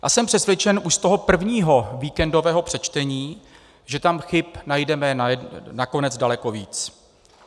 A jsem přesvědčen už z toho prvního víkendového přečtení, že tam chyb najdeme nakonec daleko víc.